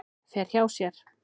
Fer hjá sér.